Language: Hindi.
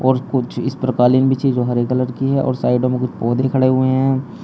और कुछ इस पर कालीन बिछी है जो हरे कलर की है और साइडों में कुछ पौधे खड़े हुए हैं।